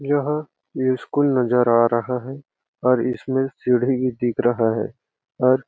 यहाँ ये स्कूल नज़र आ रहा है और इसमें सिढी दिख रहा है और--